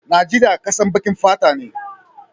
Najeria kasan bakin fata ne.